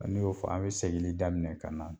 Ni y'o fɔ an mi segili daminɛ ka na